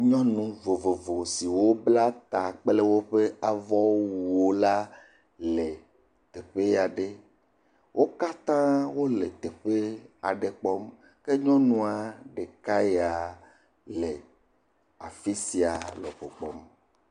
Nyɔnu vovovo siwo bla ta kple woƒe avɔwuwo la le teƒe aɖe. Wo katã wole teƒe aɖe kpɔm. ke nyɔnua ɖeka yaa le afi sia me ko kpɔm.